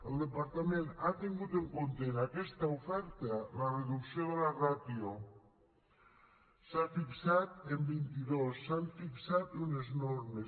el departament ha tingut en compte en aquesta oferta la reducció de la ràtio s’ha fixat en vint i dos s’han fixat unes normes